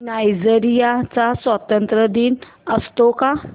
Nigeria चा स्वातंत्र्य दिन असतो का